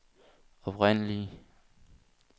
oprindelige